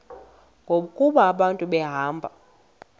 ngoku abantu behamba